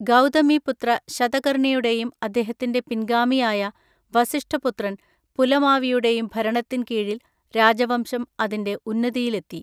ഗൗതമിപുത്ര ശതകർണിയുടെയും അദ്ദേഹത്തിൻ്റെ പിൻഗാമിയായ വസിഷ്ഠ പുത്രൻ പുലമാവിയുടെയും ഭരണത്തിൻ കീഴിൽ രാജവംശം അതിൻ്റെ ഉന്നതിയിലെത്തി.